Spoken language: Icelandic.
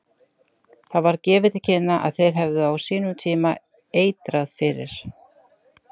Það var gefið til kynna að þeir hefðu á sínum tíma eitrað fyrir